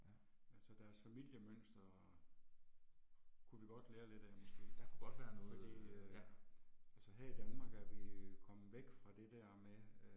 Ja, altså deres familiemønster og kunne vi godt lære lidt af måske fordi øh. Altså her i Danmark er vi kommet væk fra det der med øh